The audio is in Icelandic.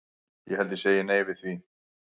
Ég held ég segi nei við því.